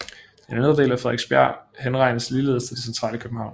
Den indre del af Frederiksberg henregnes ligeledes til det centrale København